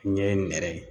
Ɲɛ nɛrɛ ye